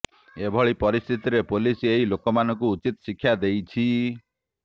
ଏଭଳି ପରିସ୍ଥିତିରେ ପୋଲିସ ଏହି ଲୋକମାନଙ୍କୁ ଉଚିତ୍ ଶିକ୍ଷା ଦେଇଛି